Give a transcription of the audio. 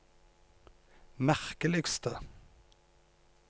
merkeligste